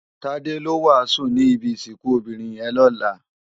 Tade ló wásùn ni ibi isikùn óbirin yèn lòlá